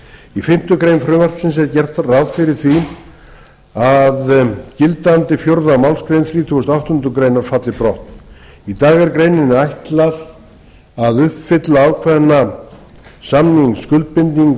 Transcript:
í fimmtu grein frumvarpsins er gert ráð fyrir því að gildandi fjórðu málsgrein þrítugustu og áttundu grein falli brott í dag er greininni ætlað að uppfylla ákveðna samningsskuldbindingu